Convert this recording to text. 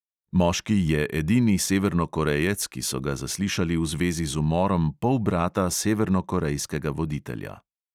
Moški je edini severnokorejec, ki so ga zaslišali v zvezi z umorom polbrata severnokorejskega voditelja.